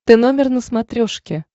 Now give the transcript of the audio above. тномер на смотрешке